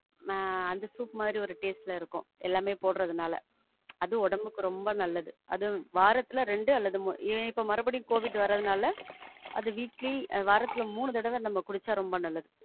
ஆஹ் அந்த soup மாரி ஒரு taste ல இருக்கும் எல்லாமே போடுறதுனால. அது உடம்புக்கு ரொம்ப நல்லது. அது வாரத்துல ரெண்டு அல்லது மூனு, ஏன் இப்போ மறுபடியும் கோவிட் வரதுனால அது weekly, வாரத்துல மூணு தடவ நாம குடிச்சா ரொம்ப நல்லது.